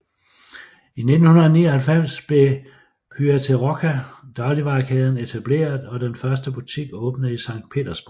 I 1999 blev Pyaterochka dagligvarekæden etableret og den første butik åbnede i Sankt Petersborg